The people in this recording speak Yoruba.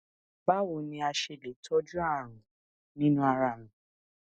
bawo ni a ṣe le tọju arun ninu ara mi